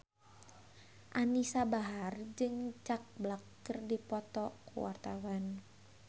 Anisa Bahar jeung Jack Black keur dipoto ku wartawan